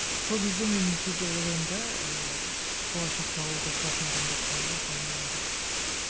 сол кезде мен кейде ойлаймын да ыыы болашақта ауылда тұратын адамдар қала ма қалмай ма деп